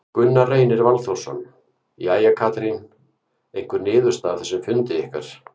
Gunnar Reynir Valþórsson: Jæja, Katrín, einhver niðurstaða af þessum fundi ykkar?